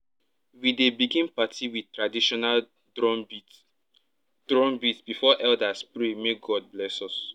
we dey begin party with traditional drumbeat drumbeat before elders pray make god bless us